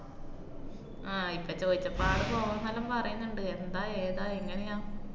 ആഹ് ഇപ്പ ചോയിച്ചപ്പ ആള് പോവാന്നെല്ലാ പറയുന്നണ്ട്. എന്താ ഏതാ എങ്ങനെയാ?